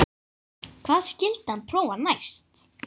Hvað skyldi hann prófa næst?